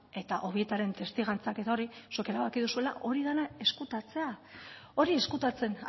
eta obietaren testigantzak eta hori zuek erabaki duzuela hori dena ezkutatzea hori ezkutatzen